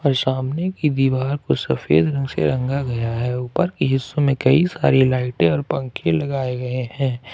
और सामने की दीवार पर सफेद रंग से रंगा गया है ऊपर के हिस्सों में कई सारी लाइटें और पंखे लगाए गए हैं।